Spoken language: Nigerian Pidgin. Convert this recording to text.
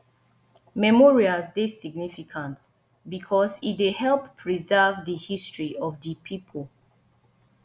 memorials dey significant because e dey help preserve di history of di pipo